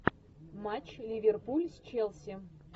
матч ливерпуль с челси